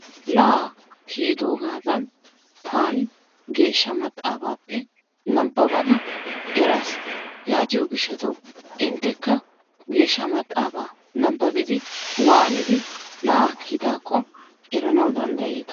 La'aa kiyidoogadan taani geeshsha maxaafaape nababada eraas. Yaatiyoo giishatawu inttekka geeshsha maaxafaa nababiidi waanidi la'aa kiyidaako eranawu danddayeetta.